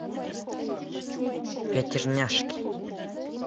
пятерняшки